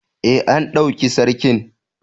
Ee, an ɗauki Sarkin.